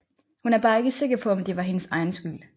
Hun er bare ikke sikker på om det var hendes egen skyld